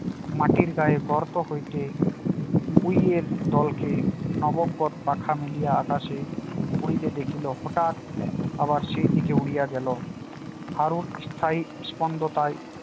মাটির গায়ে গর্ত হইতে উইয়ের দলকে নবগত পাখা মেলিয়া আকাশে উড়িতে দেখিল হঠাৎ আবার সেই দিকে উড়িয়ে গেল হারুর স্থায়ী স্পন্দ তাই